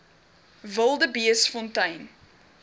wildebeestfontein